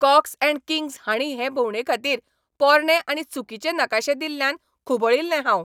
COX and Kings हांणी हे भोंवडेखातीर पोरणे आनी चुकीचे नकाशे दिल्ल्यान खुबळिल्लें हांव.